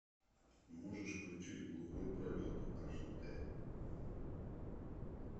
можешь включить глухой пролет аш д